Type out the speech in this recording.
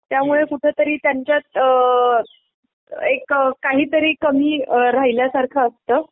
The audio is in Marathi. त्यामुळे कुठेतरी त्यांच्यात अ एक काहीतरी कमी राहिल्यासारखं असतं.